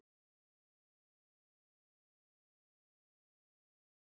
Menn vilja gleyma styrjöldinni meðan á hátíð ljóss og friðar stendur.